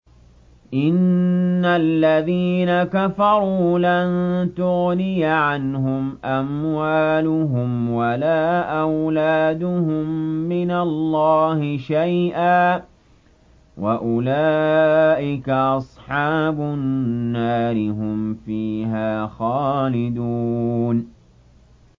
إِنَّ الَّذِينَ كَفَرُوا لَن تُغْنِيَ عَنْهُمْ أَمْوَالُهُمْ وَلَا أَوْلَادُهُم مِّنَ اللَّهِ شَيْئًا ۖ وَأُولَٰئِكَ أَصْحَابُ النَّارِ ۚ هُمْ فِيهَا خَالِدُونَ